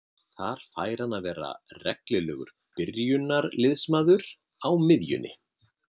Þar fær hann að vera reglulegur byrjunarliðsmaður á miðjunni.